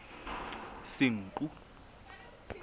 senqu